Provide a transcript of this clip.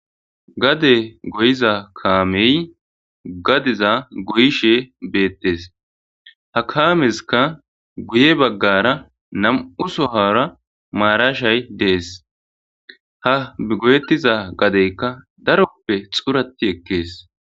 Gade goyiza kamey gadeza goyishe betes ha kamesika guye bagara nam'u sohara marashay de'es ha goyetiza gadeka darope xurati ekes.